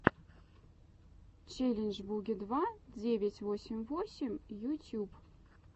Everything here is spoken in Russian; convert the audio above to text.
челлендж буги два девять восемь восемь ютюб